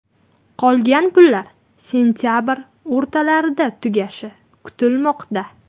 Qolgan pullar sentabr o‘rtalarida tugashi kutilmoqda.